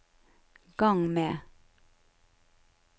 gang med